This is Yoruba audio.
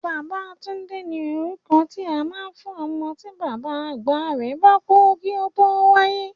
Babátúndé ni orúkọ tí a máa ń fún ọmọ tí bàbá àgbà rẹ̀ bá kú kí ó tó wáyé